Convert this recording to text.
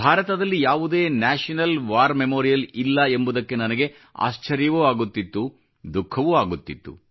ಭಾರತದಲ್ಲಿ ಯಾವುದೇ national war memorial ಇಲ್ಲ ಎಂಬುದಕ್ಕೆ ನನಗೆ ಆಶ್ಚರ್ಯವೂ ಆಗುತ್ತಿತ್ತು ಮತ್ತು ದುಖಃವೂ ಆಗುತ್ತಿತ್ತು